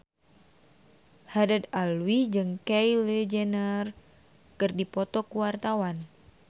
Haddad Alwi jeung Kylie Jenner keur dipoto ku wartawan